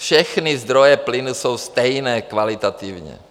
Všechny zdroje plynu jsou stejné kvalitativně.